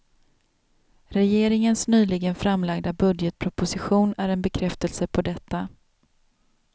Regeringens nyligen framlagda budgetproposition är en bekräftelse på detta.